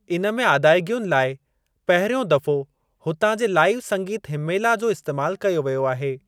इन में आदायगियुनि लाइ पहिरियों दफ़ो हुतां जे लाइव संगीत हिम्मेला जो इस्‍तेमाल कयो वयो आहे।